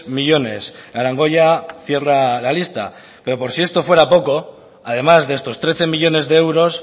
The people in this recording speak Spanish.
millónes arangoya cierra la lista pero por si esto fuera poco además de estos trece millónes de euros